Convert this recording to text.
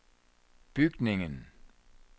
bygningen